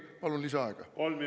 Palun lisaaega!